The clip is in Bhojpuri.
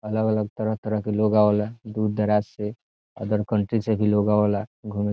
अलग-अलग तरह-तरह के लोग आवेला दूर दराज से अदर कंट्री से भी लोग आवेला घूम --